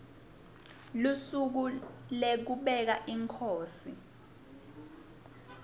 lusuku lekubeka inkhosi